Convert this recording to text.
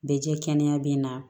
Bɛ jɛ kɛnɛya bɛ na